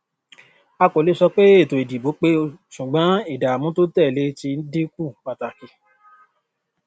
a kò lè sọ pé ètò ìdìbò pé ṣùgbọn ìdààmú tó tẹlé ti dínkù pàtàkì